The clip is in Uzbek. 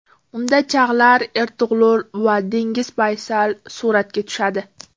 Unda Chag‘lar Ertug‘rul va Deniz Baysal suratga tushadi.